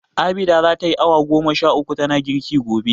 Abida za tayi awa goma sha uku tana girki gobe.